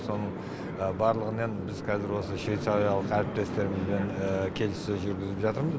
соның барлығын енді біз қазір осы швейцариялық әріптестерімізбен келісссөз жүргізіп жатырмыз